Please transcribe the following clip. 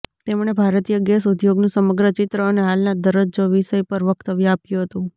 તેમણે ભારતીય ગેસ ઉદ્યોગનું સમગ્ર ચિત્ર અને હાલના દરજ્જો વિષય પર વક્તવ્ય આપ્યું હતું